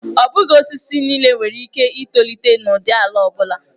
Ọ bụghị osisi niile nwere ike itolite n'ụdị ala ọ bụla.